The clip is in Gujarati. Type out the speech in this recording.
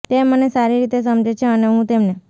તે મને સારી રીતે સમજે છે અને હું તેમને